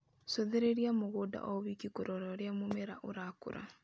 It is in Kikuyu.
Cũthĩrĩria mũgũnda o wiki kũrora ũrĩa mũmera ũrakũra